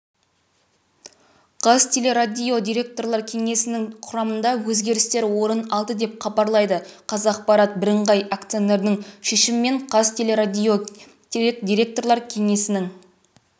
қазтелерадио директорлар кеңесінің құрамында өзгерістер орын алды деп хабарлайды қазақпарат бірыңғай акционердің шешімімен қазтелерадио директорлар кеңесінің